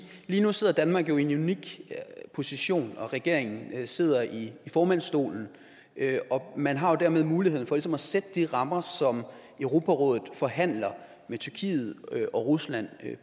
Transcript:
lige nu sidder danmark i en unik position regeringen sidder i formandsstolen og man har jo dermed muligheden for ligesom at sætte de rammer som europarådet forhandler med tyrkiet og rusland i